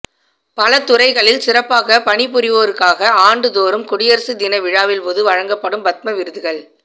பல துறைகளில் சிறப்பாக பணிபுரிவோருக்காக ஆண்டு தோறும் குடியரசு தின விழாவின் போது வழங்கப்படும் பத்ம விருதுகள்